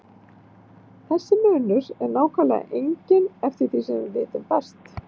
Þessi munur er nákvæmlega enginn eftir því sem við vitum best.